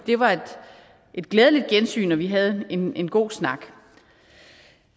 det var et glædeligt gensyn og vi havde en en god snak